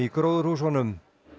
gróðurhúsunum